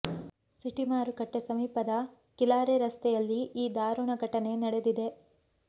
city ಮಾರುಕಟ್ಟೆ ಸಮೀಪದ ಕಿಲಾರೆ ರಸ್ತೆಯಲ್ಲಿ ಈ ದಾರುಣ ಘಟನೆ ನಡೆದಿದೆ